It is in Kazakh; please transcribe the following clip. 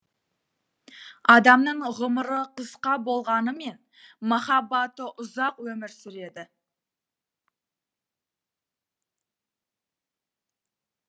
адамның ғұмыры қысқа болғанымен махаббаты ұзақ өмір сүреді